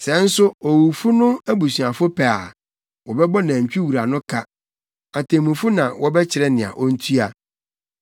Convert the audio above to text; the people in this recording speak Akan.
Sɛ nso owufo no abusuafo pɛ a, wɔbɛbɔ nantwi wura no ka. Atemmufo na wɔbɛkyerɛ nea ontua.